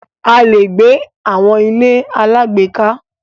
A lè gbé àwọn ilé alágbèéká.